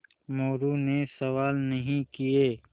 मोरू ने सवाल नहीं किये